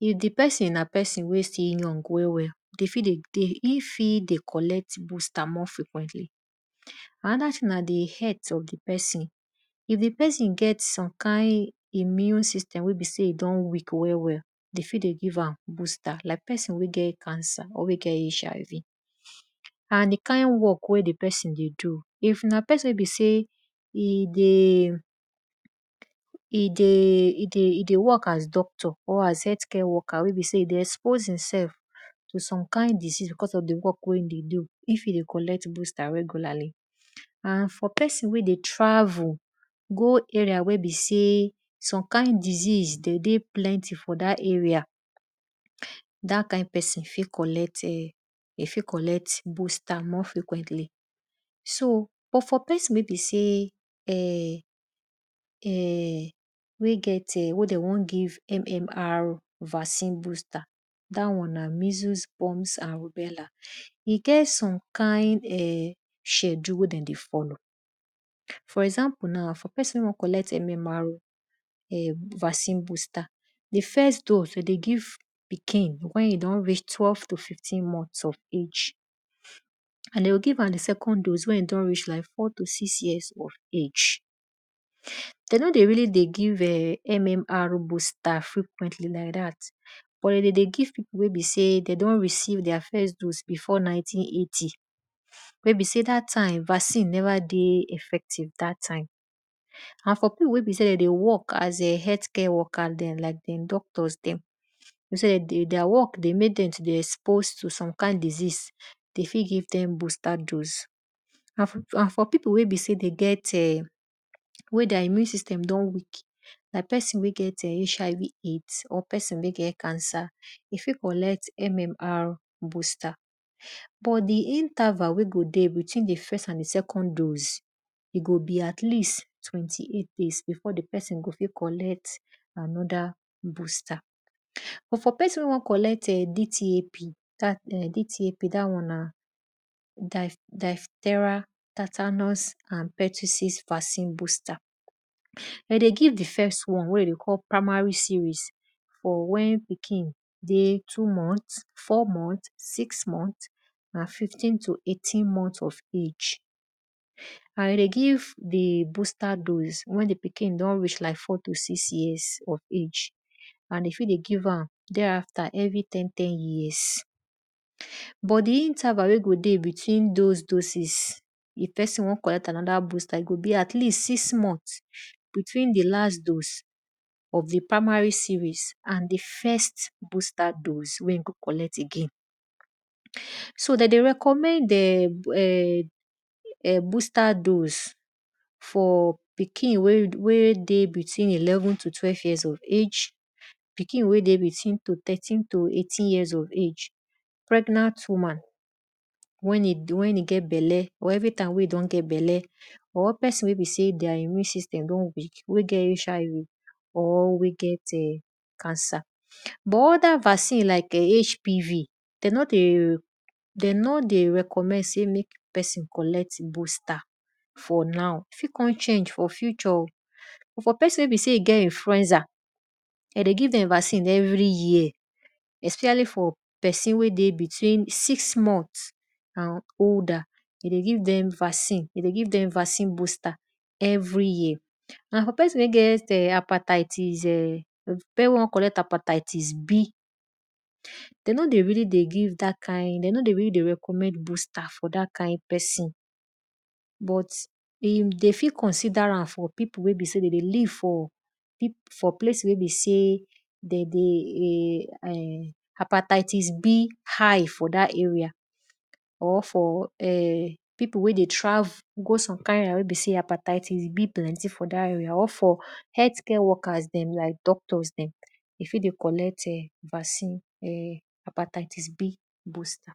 if di pesin na pesin wey young well well, e fit dey collect booster more frequently. Anoda thing na di health of di pesin, if di pesin get some kind immune system wel dey weak well well, like pesin wey get cancer, wey get HIV, and di kind dwork wey di pesin dey do if na pesin wey be sey e dey work as doctor or as helth care worker wey be sey e dey expose e sef to some kind disese because of di work weye dey do if e dey coolect booster regularly and pesin wey dey travel go area wey be sey some kind disease plenty for that area, dat kind pesin fit collect boster more frequently. But for psin wey be sey wey get wey de won give MMR vaccine booster, dat won na measles, burns and beller. E get some kind schedule wey dem dey follow. For example na for pesin wey won ollect vaccine booster, di first dose wey de dey give pikin wen e don reach twelve to fifteen month of age, and de go give am di second dose wen e don reach like four to six years of age. De no dey really dey give MMR booster frequently like dat but de dey give pipu wey be sey de don receive their first dose before ninety, eighty. maybe sey dat time vaccine neva dey effective dat time. And for pipu wey be sey de dey work as health care worker like doctors dem their work dey mek dem to expose to some kind disease, de fit give dem booster dose. And for pipu wey be sey wy their immune system don weak like pesin wey get cancer, e fit collect MMRbooster but di interval wey go dey between di first and di second doses, e go beat least twenty eight days before di pesin go fit collect qanod booster. But for pesin wey wion cololect DTP dat won na diphtheriaand tetanus toxoid booster. De dey give di first one wey dey call primary sries for wen pikin dey two month, four month, six month and fifteen to eighteen month od age. And de dey give di booster wen di booster dose wen di pikin don r each like four to six years of age and e fit dey give am there after every ten tern yesrs but di interval wey dey dey between those doses if pesin won collect anoda booster e go be at least six month btween di last dose of di primary series nd di first booster dose wey e go collet again. So de dey recomomend booster dose for pikin wey dey between elevn to twelve yeqars old, pikin wey dey between thirteen to eighteen years old. Pregnant woman wey e get belle or anytime wen e get belle, or pesini wey be sey their immune system don weak wey get HI ?V or wey get cancer, but othr vaccine like HPT, de no dey recommend sey mek eosin collect booster for now fit kon change for future o but pesin wen e sey e get influencer, de dey give dem vacin every year specially for pesin wey dey between six month and older, de dey give dem vaccine booster every yesr. Pesin wey get hepatitis B, de no dey really dey recomomend booster for dat kind pesin but if de fit consioder ram for pipu wey besey de dey live for place wey be sey de dey hepatitis B high for dat area or for pipu wey s dey travel go som kind area wey hepatitis B plenty for dat area of helth care workers dem like doctors dem, e fit dey collect em, vaccine, hepatitis B booster.